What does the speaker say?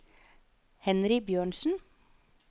Henry Bjørnsen